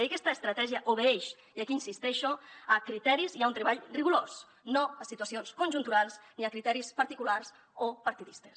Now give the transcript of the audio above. i aquesta estratègia obeeix i aquí hi insisteixo a criteris i a un treball rigorós no a situacions conjunturals ni a criteris particulars o partidistes